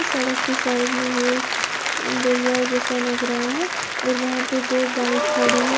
सड़क के साइड में ये एक दरियाव जैसा लग रहा है और वहां पर दो बाइक खड़ी हैं।